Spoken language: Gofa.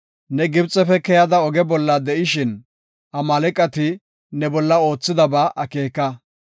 Ne Gibxefe keyada oge bolla de7ishin, Amaaleqati ne bolla oothidaba akeeka.